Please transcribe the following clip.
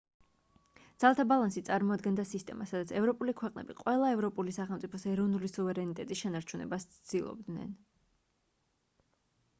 ძალთა ბალანსი წარმოადგენდა სისტემას სადაც ევროპული ქვეყნები ყველა ევროპული სახელმწიფოს ეროვნული სუვერენიტეტის შენარჩუნებას ცდილობდნენ